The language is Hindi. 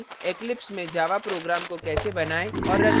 eclipse में java program को कैसे बनाएँ और रन करें